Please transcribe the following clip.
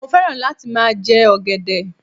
Mo fẹ́ràn láti máa jẹ ọ̀gẹ̀dẹ̀